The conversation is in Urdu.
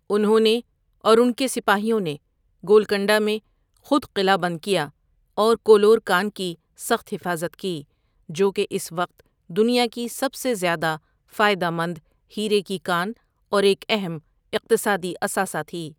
انہوں نے اور ان کے سپاہیوں نے گولکنڈہ میں خود قلہ بند کیا اور کولور کان کی سخت حفاظت کی، جو کہ اس وقت دنیا کی سب سے زیادہ فائدہ مند ہیرے کی کان اور ایک اہم اقتصادی اثاثہ تھی۔